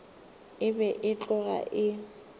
e be e tloga e